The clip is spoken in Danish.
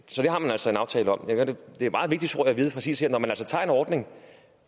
så det har man altså en aftale om man tager en ordning